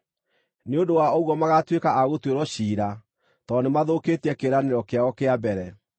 Nĩ ũndũ wa ũguo magatuĩka a gũtuĩrwo ciira, tondũ nĩmathũkĩtie kĩĩranĩro kĩao kĩa mbere.